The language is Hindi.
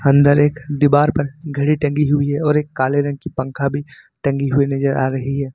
अंदर एक दीवार पर घड़ी टंकी हुई है और एक काले रंग की पंखा भी टंगी हुई नजर आ रही है।